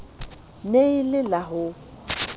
ne e le la ho